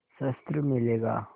शस्त्र मिलेगा